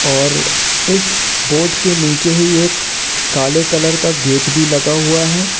और इस बोट के नीचे ही एक काले कलर का गेट भी लगा हुआ है।